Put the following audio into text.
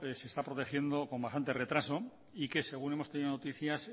se está protegiendo con bastante retraso y que según hemos tenido noticias